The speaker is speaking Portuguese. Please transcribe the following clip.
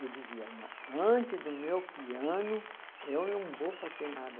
Eu dizia, não, antes do meu piano, eu não vou fazer nada.